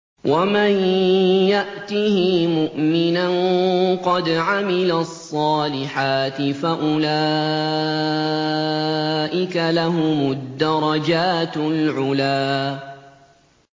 وَمَن يَأْتِهِ مُؤْمِنًا قَدْ عَمِلَ الصَّالِحَاتِ فَأُولَٰئِكَ لَهُمُ الدَّرَجَاتُ الْعُلَىٰ